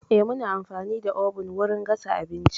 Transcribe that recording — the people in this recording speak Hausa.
Eh, muna amfani da oven wurin gasa abinci.